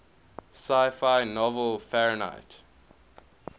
sci fi novel fahrenheit